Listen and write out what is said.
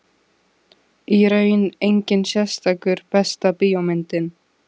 Í raun enginn sérstakur Besta bíómyndin?